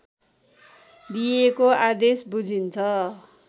दिइएको आदेश बुझिन्छ